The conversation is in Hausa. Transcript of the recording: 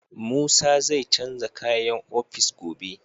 Musa zai canza kayan ofis gobe.